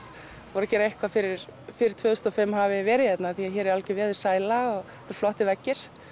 voru að gera eitthvað fyrir fyrir tvö þúsund og fimm hafi verið hérna hér er algjör veðursæla og flottir veggir